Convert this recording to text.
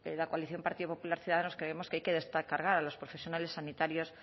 la coalición partido popular ciudadanos creemos que hay que descargar a los profesionales sanitarios